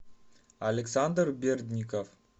александр бердников